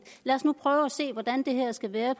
lad os nu prøve at se hvordan det her skal være